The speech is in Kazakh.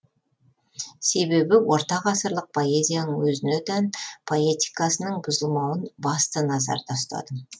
себебі ортағасырлық поэзияның өзіне тән поэтикасының бұзылмауын басты назарда ұстадым